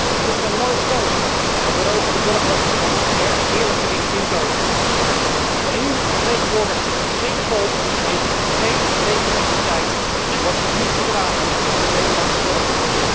Die moeten er nooit komen, want zij beroven de burger van nog meer eerlijk verdiend inkomen. De EU vertegenwoordigt geen volk, heeft geen legitimiteit en wordt niet gedragen door de Nederlandse burger.